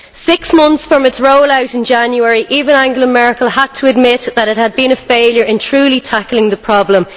Six months from its roll out in January, even Angela Merkel had to admit that it had been a failure in truly tackling the problem.